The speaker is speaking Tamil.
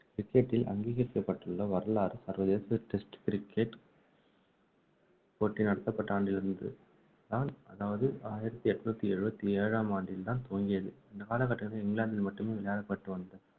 cricket டில் அங்கீகரிக்கப்பட்டுள்ள வரலாறு சர்வதேச test cricket போட்டி நடத்தப்பட்ட ஆண்டிலிருந்துதான் அதாவது ஆயிரத்து எண்ணூற்று எழுபத்தி ஏழாம் ஆண்டில்தான் துவங்கியது இந்த காலகட்டத்தில் இங்கிலாந்தில் மட்டுமே விளையாடப்பட்டு வந்த